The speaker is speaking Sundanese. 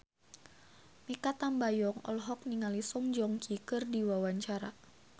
Mikha Tambayong olohok ningali Song Joong Ki keur diwawancara